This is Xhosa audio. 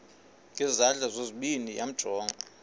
ngezandla zozibini yamjonga